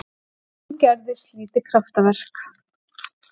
Og nú gerðist lítið kraftaverk.